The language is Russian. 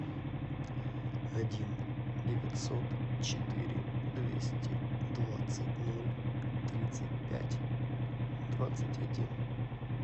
один девятьсот четыре двести двадцать ноль тридцать пять двадцать один